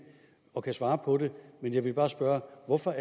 og ikke kan svare på det men jeg vil bare spørge om hvorfor